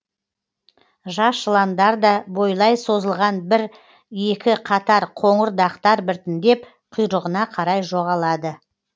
жас жыландарда бойлай созылған бір екі қатар қоңыр дақтар біртіндеп құйрығына қарай жоғалады